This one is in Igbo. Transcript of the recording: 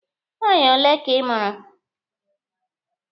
Nwaanyị ole ka ị mụrụ?